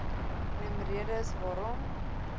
noem redes waarom